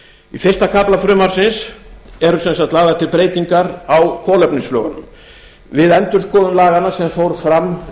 í fyrsta kafla frumvarpsins eru sem sagt lagðar til breytingar á kolvetnislögunum við endurskoðun laganna sem fór fram